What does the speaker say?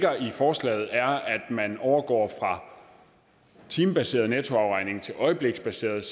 forslaget at man overgår fra timebaseret nettoafregning til øjebliksbaseret